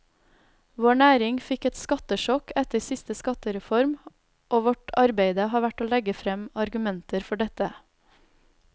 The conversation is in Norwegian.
Vår næring fikk et skattesjokk etter siste skattereform, og vårt arbeide har vært å legge frem argumenter for dette.